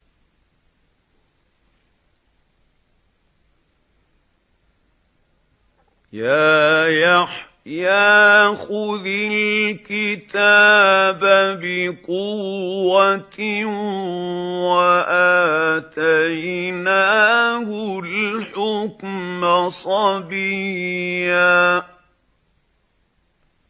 يَا يَحْيَىٰ خُذِ الْكِتَابَ بِقُوَّةٍ ۖ وَآتَيْنَاهُ الْحُكْمَ صَبِيًّا